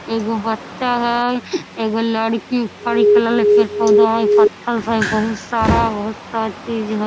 एगो बच्चा हय एगो लड़की लागल है पेड़-पौधा हय पथल सब हई बहुत सारा बहुत सा चीज़ ह।